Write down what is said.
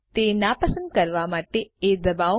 તે નાપસંદ કરવા માટે એ દબાવો